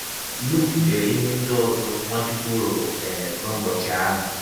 Lụk dere ihe ndị ọzọ Nwachụkwụ rụrụ um n’ụbọchị ahụ.